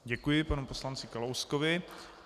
Děkuji panu poslanci Kalouskovi.